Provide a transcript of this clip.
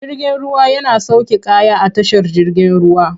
Jirgin ruwa yana sauke kaya a tashar jigin ruwa.